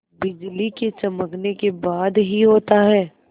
बिजली के चमकने के बाद ही होता है